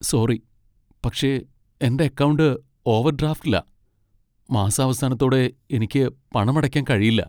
Sorry, പക്ഷേ എന്റെ account ഓവർഡ്രാഫ്റ്റിലാ, മാസാവസാനത്തോടെ എനിക്ക് പണമടയ്ക്കാൻ കഴിയില്ല.